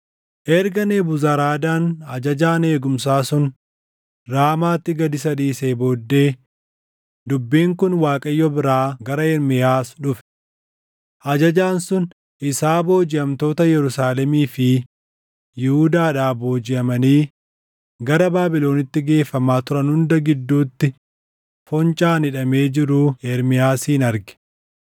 Erga Nebuzaradaan ajajaan eegumsaa sun Raamaatti gad isa dhiisee booddee dubbiin kun Waaqayyo biraa gara Ermiyaas dhufe. Ajajaan sun isaa boojiʼamtoota Yerusaalemii fi Yihuudaadhaa boojiʼamanii gara Baabilonitti geeffamaa turan hunda gidduutti foncaan hidhamee jiru Ermiyaasin arge.